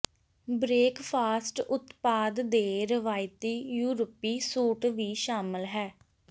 breakfast ਉਤਪਾਦ ਦੇ ਰਵਾਇਤੀ ਯੂਰਪੀ ਸੂਟ ਵੀ ਸ਼ਾਮਲ ਹੈ